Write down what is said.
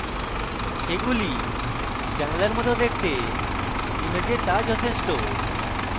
সেগুলি জানালার মত দেখতে image তা যথেষ্ঠ